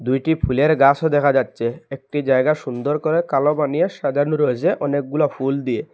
দুইটি ফুলের গাসও দেখা যাচ্চে একটি জায়গা সুন্দর করে কালো বানিয়ে সাজানো রয়েসে অনেকগুলা ফুল দিয়ে।